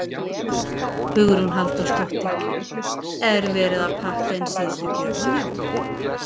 Hugrún Halldórsdóttir: Er verið að pakka inn síðustu gjöfunum?